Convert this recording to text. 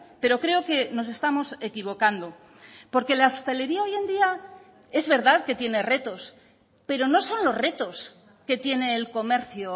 pero creo que nos estamos equivocando porque la hostelería hoy en día es verdad que tiene retos pero no son los retos que tiene el comercio